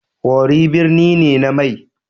Worri birni ne na mai.